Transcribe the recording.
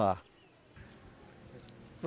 Tá.